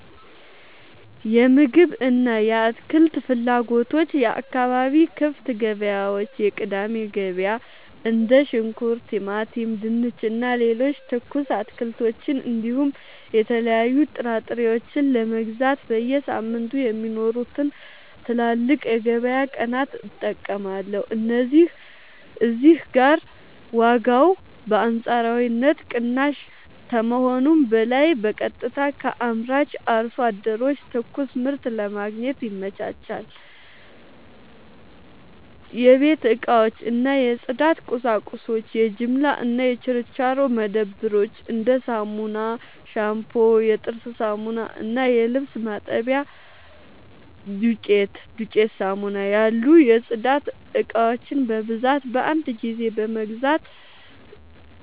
የምግብ እና የአትክልት ፍላጎቶች የአካባቢ ክፍት ገበያዎች (የቅዳሜ ገበያ): እንደ ሽንኩርት፣ ቲማቲም፣ ድንች እና ሌሎች ትኩስ አትክልቶችን እንዲሁም የተለያዩ ጥራጥሬዎችን ለመግዛት በየሳምንቱ የሚኖሩትን ትላልቅ የገበያ ቀናት እጠቀማለሁ። እዚህ ጋር ዋጋው በአንጻራዊነት ቅናሽ ከመሆኑም በላይ በቀጥታ ከአምራች አርሶ አደሮች ትኩስ ምርት ለማግኘት ይመቻቻል። 2. የቤት እቃዎች እና የጽዳት ቁሳቁሶች የጅምላ እና የችርቻሮ መደብሮች: እንደ ሳሙና፣ ሻምፑ፣ የጥርስ ሳሙና እና የልብስ ማጠቢያ ዱቄት (ዱቄት ሳሙና) ያሉ የጽዳት እቃዎችን በብዛት በአንድ ጊዜ